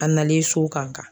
A nalen so kan kan.